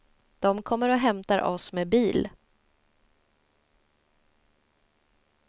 Dom kommer och hämtar oss med bil.